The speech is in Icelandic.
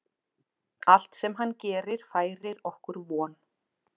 Allt sem hann gerir færir okkur von.